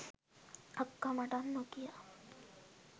අක්කා මටත් නොකියා